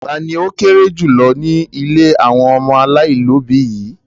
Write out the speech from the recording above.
Ta ni ó kéré jù lọ ní ilé àwọn ọmọ aláìlóòbí yìí?